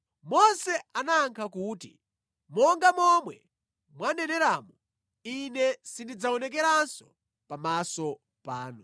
Mose anayankha kuti, “Monga momwe mwaneneramu, Ine sindidzaonekeranso pamaso panu.”